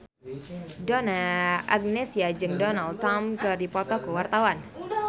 Donna Agnesia jeung Donald Trump keur dipoto ku wartawan